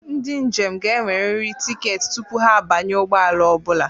Ndị njem ga-enwerịrị tiketi tupu ha abanye ụgbọ ala ọ bụla.